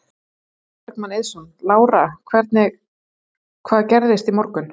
Logi Bergmann Eiðsson: Lára hvernig, hvað gerðist í morgun?